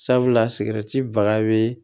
Sabula baga be